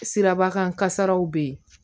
Sirabakan kasaraw bɛ yen